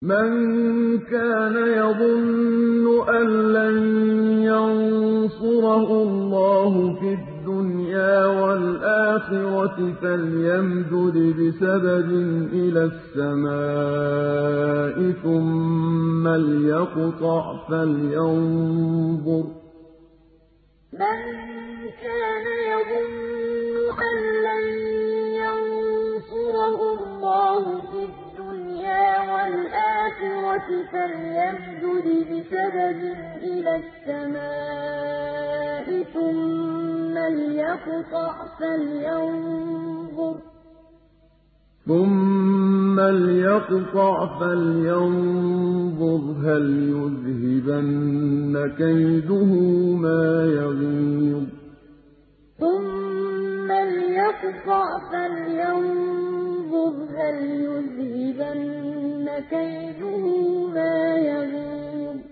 مَن كَانَ يَظُنُّ أَن لَّن يَنصُرَهُ اللَّهُ فِي الدُّنْيَا وَالْآخِرَةِ فَلْيَمْدُدْ بِسَبَبٍ إِلَى السَّمَاءِ ثُمَّ لْيَقْطَعْ فَلْيَنظُرْ هَلْ يُذْهِبَنَّ كَيْدُهُ مَا يَغِيظُ مَن كَانَ يَظُنُّ أَن لَّن يَنصُرَهُ اللَّهُ فِي الدُّنْيَا وَالْآخِرَةِ فَلْيَمْدُدْ بِسَبَبٍ إِلَى السَّمَاءِ ثُمَّ لْيَقْطَعْ فَلْيَنظُرْ هَلْ يُذْهِبَنَّ كَيْدُهُ مَا يَغِيظُ